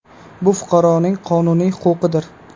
Bu fuqaroning qonuniy huquqidir.